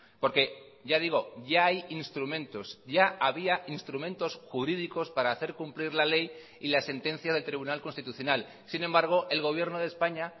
porque ya digo ya hay instrumentos ya había instrumentos jurídicos para hacer cumplir la ley y la sentencia del tribunal constitucional sin embargo el gobierno de españa